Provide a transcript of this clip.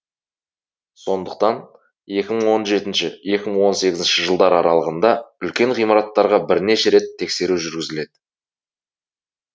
сондықтан екі мың он жетінші екі мың он сегізінші жылдар аралығында үлкен ғимараттарға бірнеше рет тексеру жүргізіледі